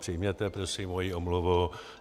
Přijměte prosím moji omluvu.